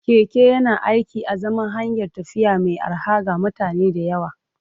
Keke yana aiki a zaman hanyar tafiya mai arha ga mutane da yawa.